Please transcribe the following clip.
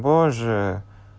боже